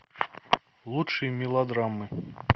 лучшие мелодрамы